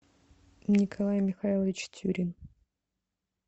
николай михайлович тюрин